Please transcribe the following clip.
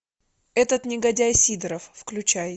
этот негодяй сидоров включай